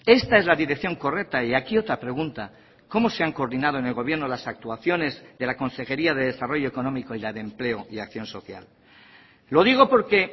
esta es la dirección correcta y aquí otra pregunta cómo se han coordinado en el gobierno las actuaciones de la consejería de desarrollo económico y la de empleo y acción social lo digo porque